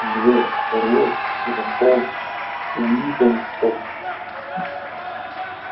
дверь отворилась и вошёл уидон скотт